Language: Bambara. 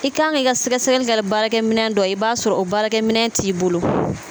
I kan k'i ka sɛgɛsɛgɛli kɛ ni baarakɛminɛ dɔ i b'a sɔrɔ o baarakɛminɛ t'i bolo